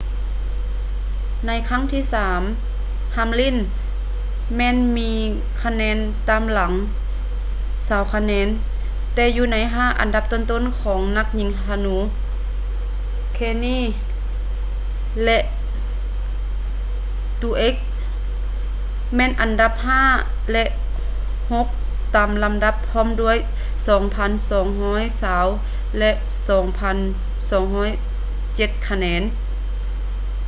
ໃນຄັ້ງທີ່ສາມ hamlin ແມ່ນມີຄະແນນຕາມຫລັງຊາວຄະແນນແຕ່ຢູ່ໃນຫ້າອັນດັບຕົ້ນຂອງນັກຍິງທະນູ kahne and truex jr ແມ່ນອັນດັບຫ້າ ແລະ ຫົກຕາມລຳດັບພ້ອມດ້ວຍ 2,220 ແລະ 2,207 ຄະແນນ